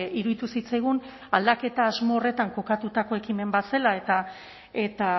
iruditu zitzaigun aldaketa asmo horretan kokatutako ekimen bat zela eta